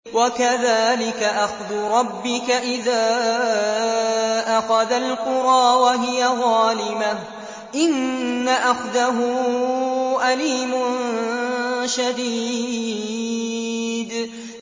وَكَذَٰلِكَ أَخْذُ رَبِّكَ إِذَا أَخَذَ الْقُرَىٰ وَهِيَ ظَالِمَةٌ ۚ إِنَّ أَخْذَهُ أَلِيمٌ شَدِيدٌ